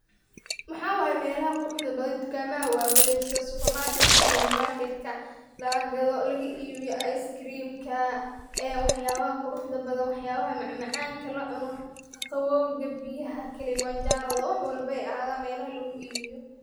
Mxawaye melaha quruxda badan dukamadaha waken sitha suparmakrt ka, minimarketka, laga gado, lagaibiyo ice cream ee wax yabaha quruxda badan macmacanka la cuno qaqawowga biyaha kalimanjaroda wax walbo ayahadan laguibiyo.